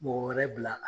Mɔgɔ wɛrɛ bila la